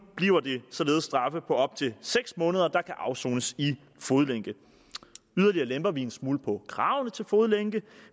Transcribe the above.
bliver straffe på op til seks måneder der kan afsones i fodlænke yderligere lemper vi en smule på kravene til fodlænke